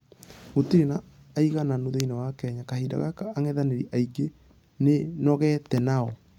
Gũtire na ....aigananu thĩinĩ wa kenya kahinda gaka angethanĩri ainge nĩnũgete nao.